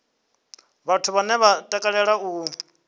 vhathu vhane vha takalea u